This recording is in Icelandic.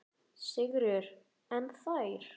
Sigríður: En þér?